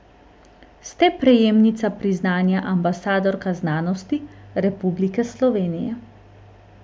Ste prejemnica priznanja ambasadorka znanosti Republike Slovenije.